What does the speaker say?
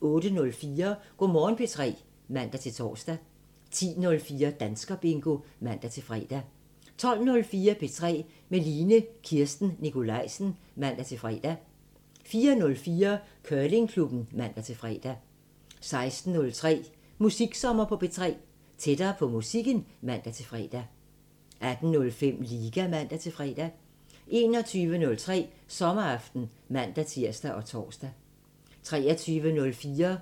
08:04: Go' Morgen P3 (man-tor) 10:04: Danskerbingo (man-fre) 12:04: P3 med Line Kirsten Nikolajsen (man-fre) 14:04: Curlingklubben (man-fre) 16:03: Musiksommer på P3 – tættere på musikken (man-fre) 18:05: Liga (man-fre) 21:03: Sommeraften (man-tir og tor) 23:04: